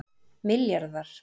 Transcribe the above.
milljarðar